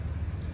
Sol!